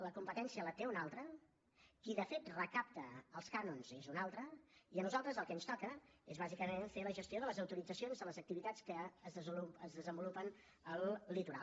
la competència la té un altre qui de fet recapta els cànons és un altre i a nosaltres el que ens toca és bàsicament fer la gestió de les autoritzacions de les activitats que es desenvolupen al litoral